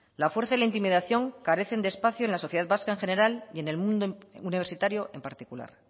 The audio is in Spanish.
la fuerza y la intimidación carecen de espacio en la sociedad vasca en general y en el mundo universitario en particular